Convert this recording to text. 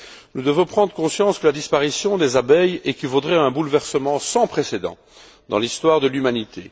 Nous devons prendre conscience que la disparition des abeilles équivaudrait à un bouleversement sans précédent dans l'histoire de l'humanité.